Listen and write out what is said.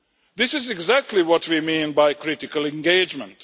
This is exactly what we mean by critical engagement.